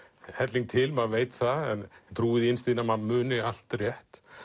helling til maður veit það en trúir því innst inni að maður muni allt rétt